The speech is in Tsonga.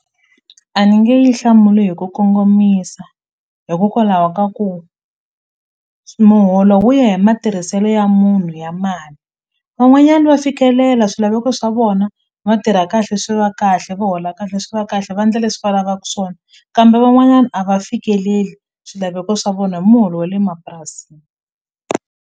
A ni nge yi hlamuli hi ku kongomisa hikokwalaho ka ku muholo wu ya hi matirhiselo ya munhu ya mali van'wanyani va fikelela swilaveko swa vona va tirha kahle swi va kahle va hola kahle swi va kahle va ndla leswi va lavaku swona kambe van'wanyana a va fikeleli swilaveko swa vona hi muholo wa le mapurasini.